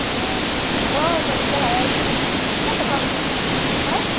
ହଁ ହବ ଆଉ ସବୁ ତ ହଇ ଆଁ?